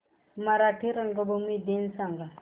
मराठी रंगभूमी दिन सांगा